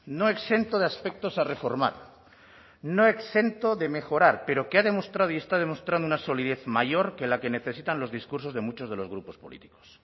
no exento de aspectos a reformar no exento de mejorar pero que ha demostrado y está demostrando una solidez mayor que la que necesitan los discursos de muchos de los grupos políticos